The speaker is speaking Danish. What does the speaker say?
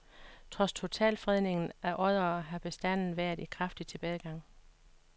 Trods totalfredningen af oddere har bestanden været i kraftig tilbagegang.